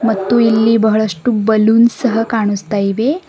ಮತ್ತು ಇಲ್ಲಿ ಬಹಳಷ್ಟು ಬಲ್ಲೂನ್ ಸಹ ಕಾಣಿಸ್ತಾ ಇವೆ.